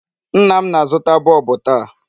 Nna m na-azụta bulb taa.